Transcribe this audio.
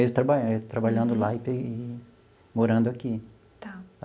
Mesmo trabalhando trabalhando lá e morando aqui. Tá.